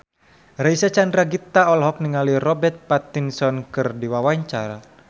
Reysa Chandragitta olohok ningali Robert Pattinson keur diwawancara